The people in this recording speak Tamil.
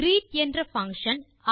கிரீட் என்ற பங்ஷன்